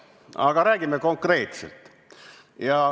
Aga räägime konkreetselt.